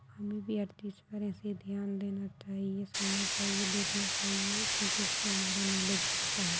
हमे भी पर ऐसे ही ध्यान देना चाहिए सुनना चाहिए देखना चाहिए क्योंकी इससे हमारा नॉलेज बढ़ता है।